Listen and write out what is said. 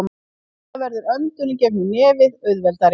Við það verður öndun í gegnum nefið auðveldari.